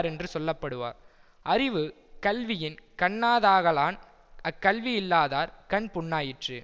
ரென்று சொல்ல படுவர் அறிவு கல்வியின் கண்ணாதாகலான் அக்கல்வியில்லாதார் கண் புண்ணாயிற்று